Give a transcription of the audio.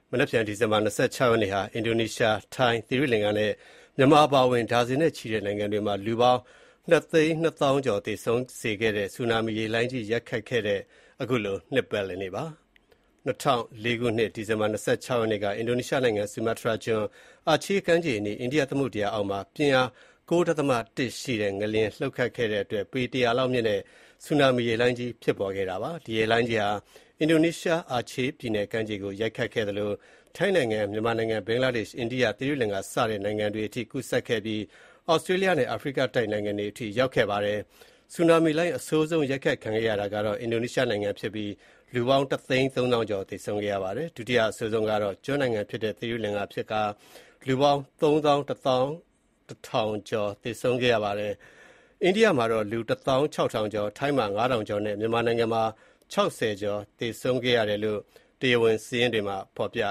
မနက်ဖြန်ဒီဇင်ဘာလ ၂၆ ရက်နေ့ဟာ အင်ဒိုနီးရှား၊ ထိုင်း၊ သီရိလင်္ကာနဲ့ မြန်မာအပါအဝင် ဒါဇင်နဲ့ချီတဲ့ နိုင်ငံတွေမှာ လူပေါင်း ၂၂၀,၀၀၀ (နှစ်သိန်းနှစ်သောင်း) ကျော်သေဆုံးစေခဲ့တဲ့ ဆူနာမီရေလှိုင်းကြီး ရိုက်ခတ်ခဲ့တဲ့ အနှစ် ၂၀ ပြည့် နှစ်ပတ်လည်နေ့ဖြစ်ပါတယ်။ ၂၀၀၄ ခုနှစ်၊ ဒီဇင်ဘာလ ၂၆ ရက်နေ့က အင်ဒိုနီးရှားနိုင်ငံ ဆူမာတြားကျွန်း၊ အာချေးကမ်းခြေအနီး အိန္ဒိယသမုဒ္ဒရာအောက်မှာ ပြင်းအား ၉ ဒသမ ၁ ရှိတဲ့ ငလျင်လှုပ်ခဲ့တဲ့အတွက် ပေ ၁၀၀ လောက်မြင့်တဲ့ ဆူနာမီရေလှိုင်းကြီး ဖြစ်ပေါ် ခဲ့ပါတယ်။ ဒီရေလှိုင်းကြီးဟာ အင်ဒိုနီးရှား အာချေးပြည်နယ်ကမ်းခြေကို ရိုက်ခတ်ခဲ့သလို ထိုင်းနိုင်ငံ၊ မြန်မာနိုင်ငံ၊ ဘင်္ဂလားဒေ့ရှ်၊ အိန္ဒိယ၊ သီရိလင်္ကာစတဲ့နိုင်ငံတွေအထိ ကူးစက်ခဲ့ပြီး ဒီ ဆူနာမီလှိုင်းဟာ သြစတြေးလျားနဲ့ အာဖရိကတိုက်နိုင်ငံတွေ အထိရောက်ရှိခဲ့ပါတယ်။ ဆူနာမီလှိုင်း အဆိုးဆုံးရိုက်ခတ်ခံခဲ့ရတာကတော့ အင်ဒိုနီးရှားဖြစ်ပြီး လူပေါင်း ၁၃၀,၀၀၀ (တသိန်းသုံးသောင်း) ကျော် သေဆုံးခဲ့ပါတယ်။ ဒုတိယအဆိုးဆုံးခံခဲ့ရတာကတော့ သီရိလင်္ကာကျွန်း နိုင်ငံဖြစ်ပြီး လူပေါင်း ၃၁,၀၀၀ (သုံးသောင်းတထောင်) ကျော် သေဆုံးခဲ့ပါတယ်။ အိန္ဒိယမှာ လူ ၁၆,၀၀၀ (တသောင်းခြောက်ထောင်ကျော်)၊ ထိုင်းမှာ ၅,၀၀၀ ကျော်နဲ့ မြန်မာနိုင်ငံမှာ ၆၀ ကျော် သေဆုံးတယ်လို့ တရား ဝင်စာရင်းတွေမှာဖေါ်ပြ